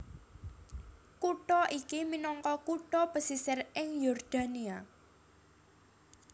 Kutha iki minangka kutha pesisir ing Yordania